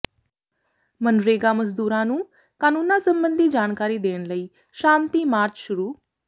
ਮਨਰੇਗਾ ਮਜ਼ਦੂਰਾਂ ਨੂੰ ਕਾਨੂੰਨਾਂ ਸਬੰਧੀ ਜਾਣਕਾਰੀ ਦੇਣ ਲਈ ਸ਼ਾਂਤੀ ਮਾਰਚ ਸ਼ੁਰੂ